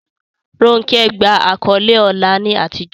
Ronke gba àkọ́lé ọlá ní àtijọ́.